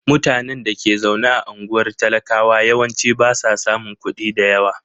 Mutanen da ke zaune a unguwar talakawa yawanci ba sa samun kuɗi da yawa.